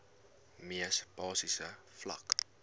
mees basiese vlak